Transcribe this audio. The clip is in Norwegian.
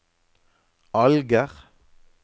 Alger